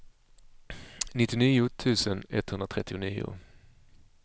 nittionio tusen etthundratrettionio